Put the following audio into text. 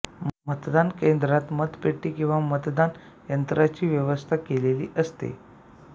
मतदान केंद्रात मतपेटी किंवा मतदान यंत्राची व्यवस्था केलेली असते